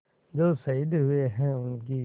जो शहीद हुए हैं उनकी